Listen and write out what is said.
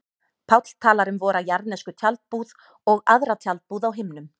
Páll talar um vora jarðnesku tjaldbúð og aðra tjaldbúð á himnum.